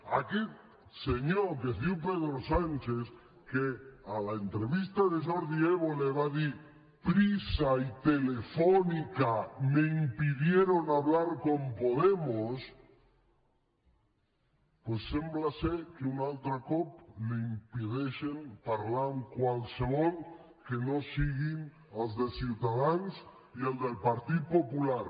a aquest senyor que es diu pedro sánchez que a l’entrevista de jordi évole va dir prisa y telefónica me impidieron hablar con podemos doncs sembla ser que un altre cop li impedeixen parlar amb qualsevol que no siguin els de ciutadans i el del partit popular